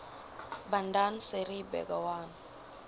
bandar seri begawan